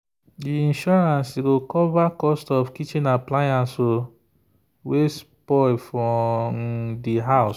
the insurance go cover cost of kitchen appliance wey spoil for um the house.